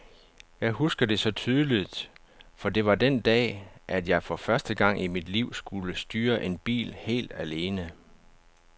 Jeg husker det så tydeligt, for det var den dag, at jeg for første gang i mit liv skulle styre en bil helt alene.